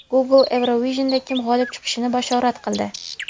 Google Eurovision’da kim g‘olib chiqishini bashorat qildi.